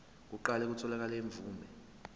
kuqale kutholakale imvume